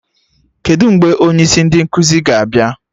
Kedụ mgbe onye isi ndị nkụzi ga-abịa?